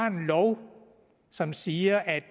en lov som siger at